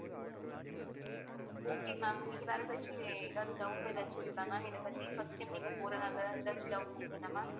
okay ma'am உங்களுக்கு வேற ஏதாச்சு எதாவது doubt எதாச்சு இருக்கா ma'am இதைப்பத்தி first time நீங்க போறனால எதாச்சு doubt இருக்குதா ma'am